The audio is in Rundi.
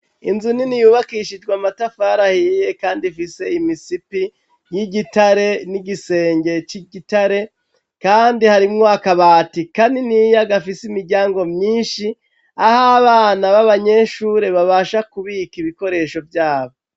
Inzu nini yubakishijwe amatafari ahiye kandi ifise imisipi y'igitare n'igisenge c'igitare kandi harimwo akabati kaniniya gafise imiryango myinshi aho abana babanyeshure babasha kubika ibikoresho vyabo.